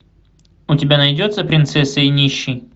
у тебя найдется принцесса и нищий